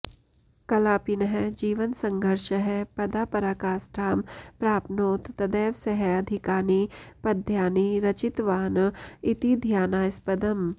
कलापिनः जीवनसङ्घर्षः पदा पराकाष्ठां प्राप्नोत् तदैव सः अधिकानि पद्यानि रचितवान् इति ध्यानास्पदम्